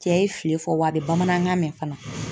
Cɛ ye fili fɔ, wa a bɛ bamanankan mɛn fana.